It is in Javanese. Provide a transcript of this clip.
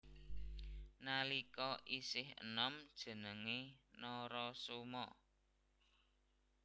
Nalika isih enom jenengé Narasoma